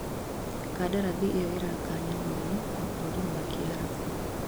Kandarathi ĩyo ĩraganyanirie mabũrũri ma kiarabu